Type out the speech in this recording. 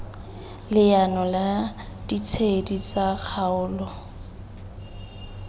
leano la ditshedi tsa kgaolo